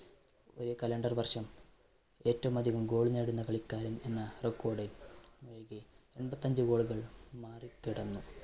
ഒരു calendar വർഷം ഏറ്റവും അധികം goal നേടുന്ന കളിക്കാരൻ എന്ന record അൻപത്തഞ്ച് goal കൾ മാറികടന്ന്